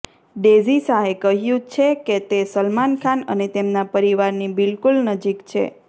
daisy શાહે કહ્યુ છે કે તે સલમાન ખાન અને તેમના પરિવારની બિલકુલ નજીક છે